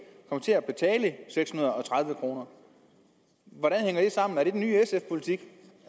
kommer til at betale seks hundrede og tredive kroner hvordan hænger det sammen er det den nye sf politik